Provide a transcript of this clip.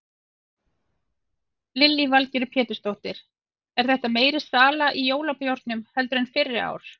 Lillý Valgerður Pétursdóttir: Er þetta meiri sala í jólabjórnum heldur en fyrri ár?